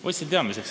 Võtsin teadmiseks.